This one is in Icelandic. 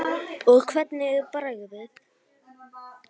Og hvernig er bragðið?